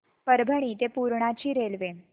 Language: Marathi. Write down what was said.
परभणी ते पूर्णा ची रेल्वे